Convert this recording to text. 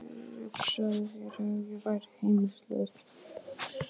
Það gekk mikið á innan veggja heimilisins á þessum tíma.